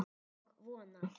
Og vona.